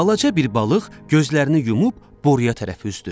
Balaca bir balıq gözlərini yumub boruya tərəf üzdü.